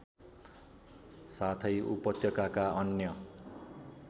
साथै उपत्यकाका अन्य